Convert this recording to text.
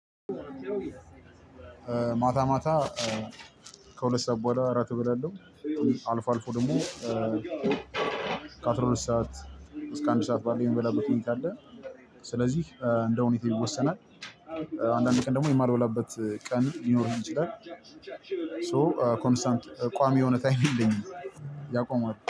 ማታ ማታ ከሁለት ሰዓት በኋላ እራት እበላለሁ። አልፎ አልፎ ደሞ ከአስራሁለት ሰዓት እስከ አንድ ሰዓት ባለው የሚበላበት ሁኔታ አለ። ስለዚህ እንደው ሁኔታው ይወሰናል። አንዳንድ ቀን ደሞ የማልበላበት ቀን ሊኖር ይችላል። ሶ ኮንስታንት ቋሚ የሆነ ታይም የለኝም። ያቆማል